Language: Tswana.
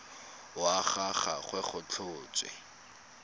wa ga gagwe go tlhotswe